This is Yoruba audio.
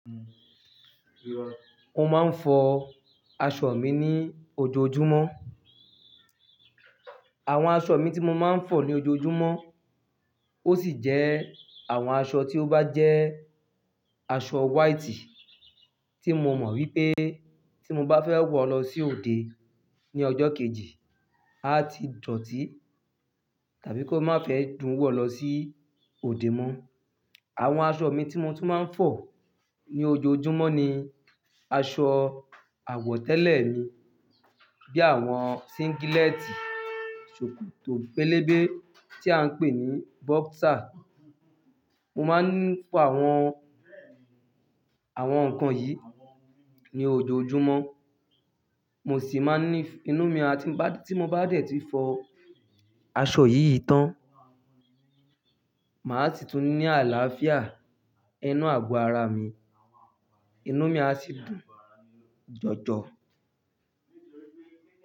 Mo máa ń fọ aṣọ mi ní ojoojúmọ́. Àwọn aṣọ mi tí mo máa ń fọ ní ojoojúmọ́, ó sì jẹ́ àwọn aṣọ tí ó bá jẹ́ aṣọ white tí mo mọ̀ wípé tí mo bá fẹ́ wọ̀ lọ sí òde ní ọjọ́ kejì, á ti dọ̀tí tàbí kó má fẹ́ dùn wọ̀ lọ sí òde mọ́. Àwọn aṣọ mi tí mo tún máa ń fọ ní ojoojúmọ́ ni aṣọ àwọ̀tẹ́lẹ̀ mi bí i àwọn singletì ṣòkòtò pélébé tí à ń pè ní boxer. Mo máa ń ní pa àwọn, àwọn nǹkan yìí ní ojoojúmọ́. Mo sì máa ní inú mi tí mo bá dé tí fọ aṣọ yìí tán, màá sì tún ní àlàáfíà inú àgọ́ ara mi, inú mi á sì dùn jọjọ.